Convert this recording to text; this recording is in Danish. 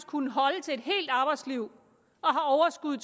kunnet holde til et helt arbejdsliv og har overskud